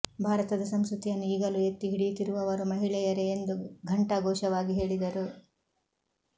ಭಾರತದ ಸಂಸ್ಕತಿಯನ್ನು ಈಗಲೂ ಎತ್ತಿ ಹಿಡಿಯುತ್ತಿರುವವರು ಮಹಿಳೆಯರೆ ಎಂದು ಘಂಟಾಘೋಷವಾಗಿ ಹೇಳಿದರು